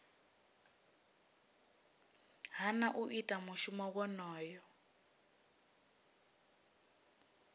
hana u ita mushumo wonoyo